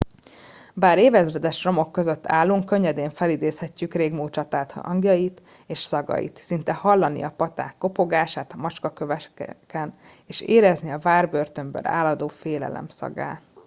bár ezeréves romok között állunk könnyedén felidézhetjük a régmúlt csaták hangjait és szagait szinte hallani a paták kopogását a macskaköveken és érezni a várbörtönből áradó félelem szagát